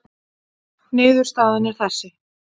Niðurstaðan er þessi